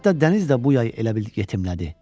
Hətta dəniz də bu yay elə bil yetimlədi.